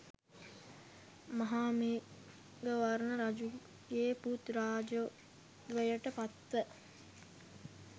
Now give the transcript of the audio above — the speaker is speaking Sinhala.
මහාමේඝවර්ණ රජුගේ පුත් රාජ්‍යත්වයට පත්ව